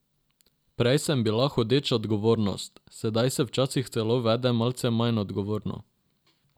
Prej sem bila hodeča odgovornost, sedaj se včasih celo vedem malce manj odgovorno.